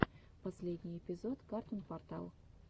последний эпизод картун портал